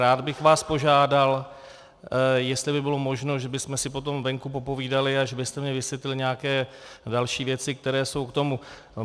Rád bych vás požádal, jestli by bylo možno, že bychom si potom venku popovídali, a že byste mi vysvětlil nějaké další věci, které jsou k tomu.